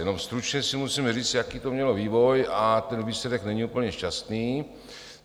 Jenom stručně si musíme říct, jaký to mělo vývoj, a ten výsledek není úplně šťastný.